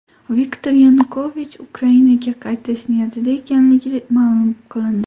Viktor Yanukovich Ukrainaga qaytish niyatida ekanligi ma’lum qilindi.